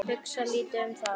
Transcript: Hugsa lítið um það.